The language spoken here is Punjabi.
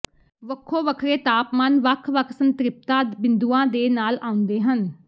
ਵੱਖੋ ਵੱਖਰੇ ਤਾਪਮਾਨ ਵੱਖ ਵੱਖ ਸੰਤ੍ਰਿਪਤਾ ਬਿੰਦੂਆਂ ਦੇ ਨਾਲ ਆਉਂਦੇ ਹਨ